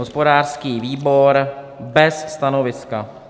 Hospodářský výbor bez stanoviska.